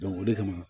o de kama